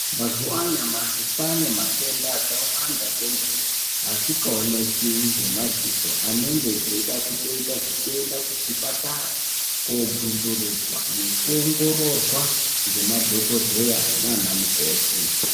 Mazuva anyamashi kwane matenda akawanda kwemene asikaoneko ngemadziso. Anenge eida kutoita zvekuende kuzvipatara kobvunzurudzwa nekuongororwa ngemadhogodheya nana mukoti.